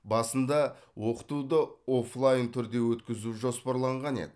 басында оқытуды оффлайн түрде өткізу жоспарланған еді